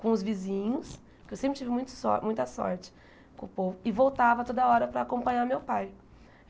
com os vizinhos, porque eu sempre tive muita so muita sorte com o povo, e voltava toda hora para acompanhar meu pai.